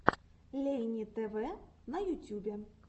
лейни тв на ютюбе